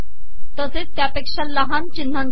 तसेच तयापेका लहान िचनहासाठी